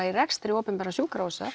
í rekstri opinberra sjúkrahúsa